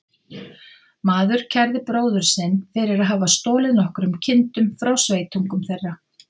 Maður kærði bróður sinn fyrir að hafa stolið nokkrum kindum frá sveitungum þeirra.